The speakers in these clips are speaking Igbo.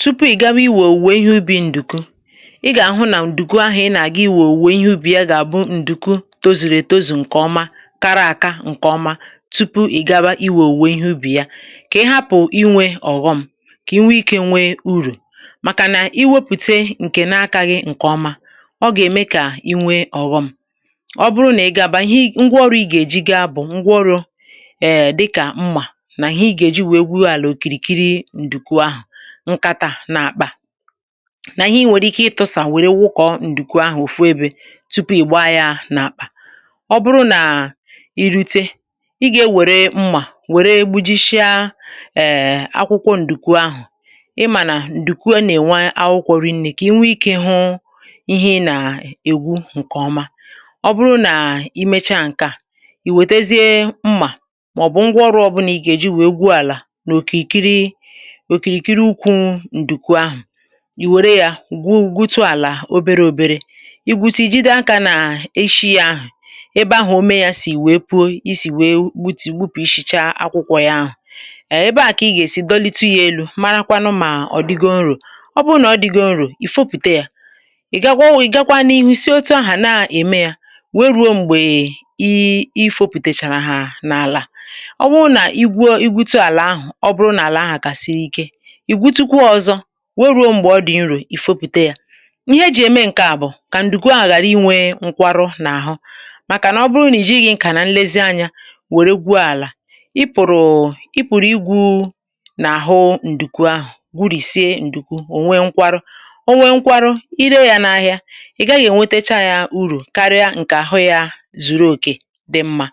Tupu ị gawa iwė òwùwè ihe ubì ǹdùku, ị gà-àhụ nà ǹdùku ahụ̀ ị nà-àga iwė òwùwè ihe ubì ya gà-àbụ ǹdùku tozùrù ètuzù ǹkè ọma, kara àka ǹkè ọma tupu ị gà-àba iwė òwùwè ihe ubì ya, kà ị hapụ̀ inwė ọ̀ghọm kà inwe ikė nwee urù, màkà nà iwėpùte ǹkè n’akȧghị ǹkè ọma, ọ gà-ème kà inwė ọ̀ghọm. Ọ bụrụ nà ị ga-abà, ihe ngwaọrụ ị gà-èji ga bụ̀ ngwọrụ um dịkà mmà, nà ihe ị gà-èji wee gwuo àlà ǹkàtà n’àkpà, nà ihe i nwèrè ike ịtụ̇sà, wèrè wụkọ̀ ǹdùkù ahụ̀ òfu ebė tupu ị̀gba ya n’àkpà. Ọ bụrụ nà i rute, ị ga-ewere mma wère gbuji shịa um akwụkwọ ǹdùkù ahụ̀, ị mà nà ǹdùkù nà-ènwe akwụkwọ rinnė, kà ịnwe ikė hụ ihe ị nà-ègwu ǹkè ọma. Ọ bụrụ nà i mecha ǹke à, i wètezie mmà màọbụ̀ ngwa ọrụ̇, ọbụna ị gà-eji wèe gwuo àlà n' òkìrìkiri ukwu̇ ǹdùkwu ahụ̀, ì wère yȧ gwụ gwutu àlà obere ȯbėrè i gwutu, i jide akȧ nà ishi yȧ ahụ̀ ebe ahụ̀, o mee yȧ sì wèe pụo. I sì wèe gbupusichaa akwụkwọ yȧ ahụ̀ ebe ahụ̀, kà ị gà-èsi dọlịtu yȧ elu̇, mara kwanụ mà ọ̀ dịgo nrò. Ọ bụrụ nà ọ dịgo nrò, ì fopùte yȧ, ị̀ gakwa ọwụ̀, ị̀ gakwa n’ihu si otu ahụ̀ na-ème yȧ, wee ruo m̀gbè i fopùtèchàrà hà n’àlà. À ọ wụ nà igwuo, i gwutu àlà ahụ̀, we ruo m̀gbè ọdị̀ nru̇. Ì fopùte yȧ ihe e jì ème ǹke à bụ̀ kà ǹdùkwọ àhàra inwė nkwarụ n’àhụ, màkà nà ọ bụrụ nìji gị̇ ǹkà nà nlezi anyȧ wère gwuo àlà, ị pụ̀rụ̀, ị pụ̀rụ̀ igwù n’àhụ ǹdùkwu ahụ̀, gwùrìsie ǹdùkwu. Ò nwe nkwarụ, o nwe nkwarụ, i ree yȧ n’ahìa, ị̀ gaghị̇ ènwetacha yȧ urù karịa ǹkè àhụ̀, yȧ zùrù òkè dị mma,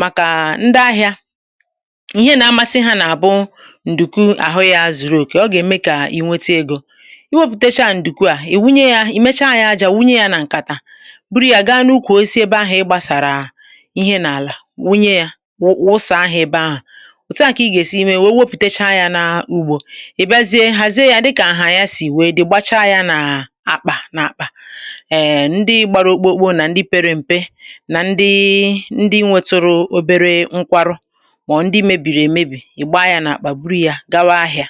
màkà ndị ahị̇ȧ ǹdùku àhụ ya zùrù òkè. Ọ gà-ème kà inwėtu egȯ iwėpùtecha ǹdùku à, ì wunye ya, ì mecha ya aja, wunye ya nà ǹkàtà, buru ya gaa n’ukwù osi ebe ahụ̀ ịgbȧsàrà ihe n’àlà, wunye ya wụsà ahụ̀ ebe ahụ̀. Òtu à kà ị gà-èsi imė wèe wepùtecha ya n’ugbȯ, ị̀ bịazie hàzie ya, dịkà ahà ya si wee di gbacha ya n’àkpà, n’àkpà. Ee, ndị gbara okpokpo nà ndị pere m̀pe nà ndị nwẹtụrụ obere nkwarụ, mà ndị mẹbìrì, èmebì, yȧ gawa ahịȧ.